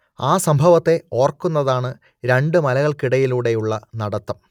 ആ സംഭവത്തെ ഓർക്കുന്നതാണ് രണ്ടു മലകൾക്കിടയിലൂടെയുള്ള നടത്തം